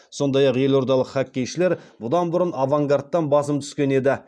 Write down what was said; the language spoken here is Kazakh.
сондай ақ елордалық хоккейшілер бұдан бұрын авангардтан басым түскен еді